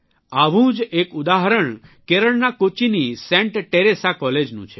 આવું જ એક ઉદાહરણ કેરળના કોચ્ચીની સેન્ટ ટેરેસા કોલેજનું છે